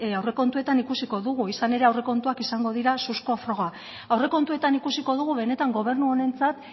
aurrekontuetan ikusiko dugu izan ere aurrekontuak izango dira suzko froga aurrekontuetan ikusiko dugu benetan gobernu honentzat